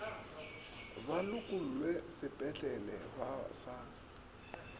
ba lokollwe sepetlele ba sa